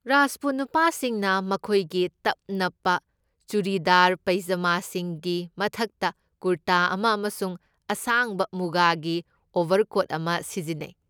ꯔꯥꯖꯄꯨꯠ ꯅꯨꯄꯥꯁꯤꯡꯅ ꯃꯈꯣꯏꯒꯤ ꯇꯞ ꯅꯞꯄ ꯆꯨꯔꯤꯗꯥꯔ ꯄꯩꯖꯃꯥꯁꯤꯡꯒꯤ ꯃꯊꯛꯇ ꯀꯨꯔꯇꯥ ꯑꯃ ꯑꯃꯁꯨꯡ ꯑꯁꯥꯡꯕ ꯃꯨꯒꯥꯒꯤ ꯑꯣꯕꯔꯀꯣꯠ ꯑꯃ ꯁꯤꯖꯤꯟꯅꯩ꯫